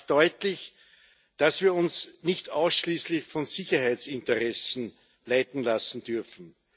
Er macht deutlich, dass wir uns nicht ausschließlich von Sicherheitsinteressen leiten lassen dürfen.